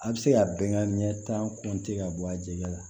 A bɛ se ka bɛnkan ɲɛ tan ka bɔ a jɛgɛ la